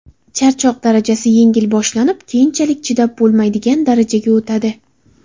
Charchoq darajasi yengil boshlanib, keyinchalik chidab bo‘lmaydigan darajaga o‘tadi.